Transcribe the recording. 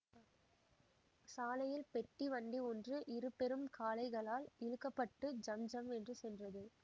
சாலையில் பெட்டி வண்டி ஒன்று இரு பெரும் காளைகளால் இழுக்க பட்டு ஜம் ஜம் என்று சென்றது